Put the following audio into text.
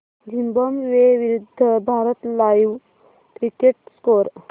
Zimbabwe विरूद्ध Bharat live cricket score